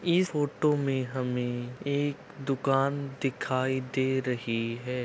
Photo में हमें एक दुकान दिखाई दे रही है।